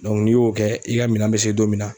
n'i y'o kɛ i ka minan bɛ se don min na